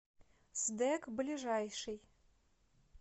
сдэк ближайший